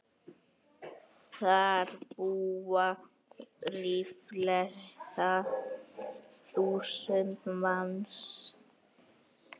Þar búa ríflega þúsund manns.